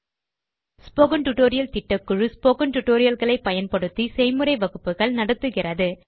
spoken tutorial திட்டக்குழு spoken tutorial களை பயன்படுத்தி செய்முறை வகுப்புகள் நடத்துகிறது